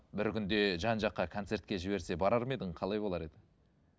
бір күнде жан жаққа концертке жіберсе барар ма едің қалай болар еді